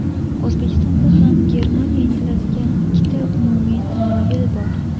O‘zbekistonda ham Germaniya intiladigan ikkita umumiy tamoyil bor.